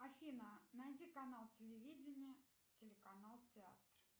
афина найди канал телевидение телеканал театр